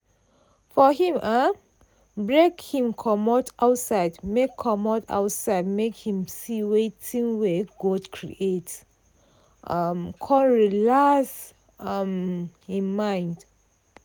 for him um break him comot outside make comot outside make him see things wey god create um con relax um im mind.